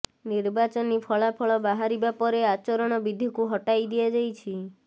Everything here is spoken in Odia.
ନିର୍ବାଚନୀ ଫଳାଫଳ ବାହାରିବା ପରେ ଆଚରଣ ବିଧିକୁ ହଟାଇ ଦିଆଯାଇଛି